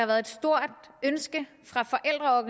været et stort ønske